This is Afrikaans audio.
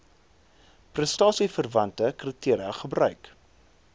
prestasieverwante kriteria gebruik